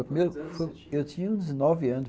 Quantos anos você tinha? Eu tinha uns dezenove anos